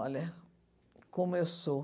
Olha como eu sou.